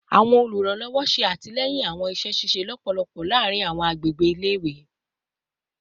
Awọn oluranlọwọ ṣe atilẹyin awọn iṣẹ ṣiṣe lọpọlọpọ laarin awọn agbegbe ile-iwe